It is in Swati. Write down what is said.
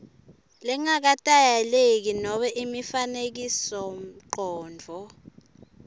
langaketayeleki nobe imifanekisomcondvo